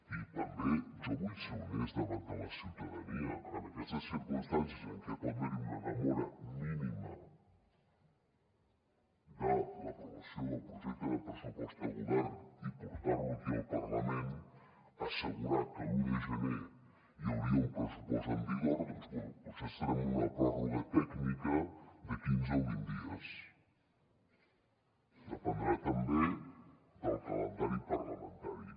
i també jo vull ser honest davant de la ciutadania en aquestes circumstàncies en què pot haver hi una demora mínima de l’aprovació del projecte de pressupost a govern i portar lo aquí al parlament assegurar que l’un de gener hi hauria un pressupost en vigor doncs bé potser estarem en una pròrroga tècnica de quinze o vint dies dependrà també del calendari parlamentari